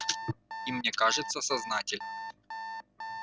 и мне кажется сознатель